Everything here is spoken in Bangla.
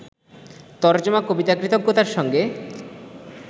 তরজমা-কবিতা ‘কৃতজ্ঞতা’র সঙ্গে